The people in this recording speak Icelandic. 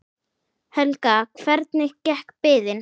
Helga: Hvernig gekk biðin?